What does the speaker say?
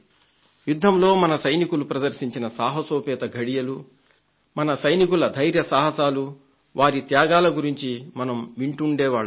యుద్ధంలో మన సైనికులు ప్రదర్శించిన సాహసోపేత ఘడియలు మన సైనికుల ధైర్యసాహసాలు వారి త్యాగాల గురించి మనం వింటూ ఉండేవాళ్లం